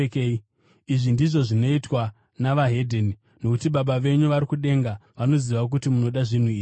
Izvi ndizvo zvinoitwa nevedzimwe ndudzi, nokuti Baba venyu vari kudenga vanoziva kuti munoda zvinhu izvi.